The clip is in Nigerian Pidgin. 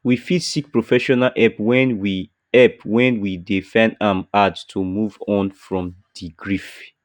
we fit seek professional help when we help when we dey find am hard to move on from di grief